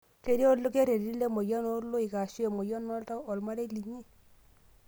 Ketii olkereti lemoyian ooloik aashu emoyian oltau olmarei linyi?